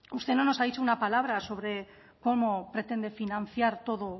usted no nos ha dicho una palabra sobre cómo pretende financiar todo